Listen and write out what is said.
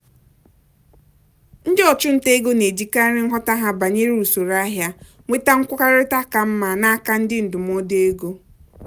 ndị ọchụnta ego na-ejikarị nghọta ha banyere usoro ahịa nweta nkwekọrịta ka mma n'aka ndị ndụmọdụ ego.